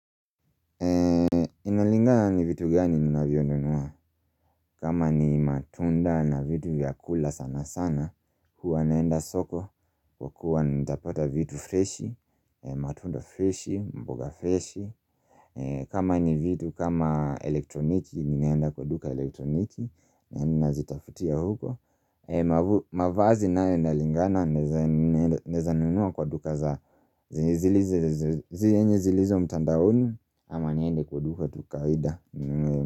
Inalingana ni vitu gani nina vyonunua kama ni matunda na vitu vya kula sana sana Huwa naenda soko kwa kuwa nita pata vitu freshi matunda fresh, mboga fresh kama ni vitu kama elektroniki Ninaenda kwa duka elektroniki Nina zitafutia huko mavazi nayo inalingana Naeza nunua kwa duka za zenye zilizo mtandaoni ama niende kwa duka tu kawaida.